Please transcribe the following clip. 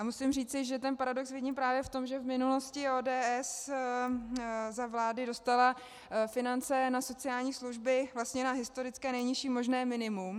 A musím říci, že ten paradox vidím právě v tom, že v minulosti ODS za vlády dostala finance na sociální služby vlastně na historické nejnižší možné minimum.